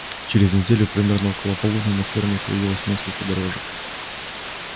через неделю примерно около полудня на ферме появилось несколько дрожек